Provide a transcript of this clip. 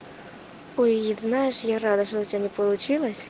ой знаешь я рада что у тебя не получилось